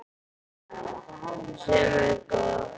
Sem er gott.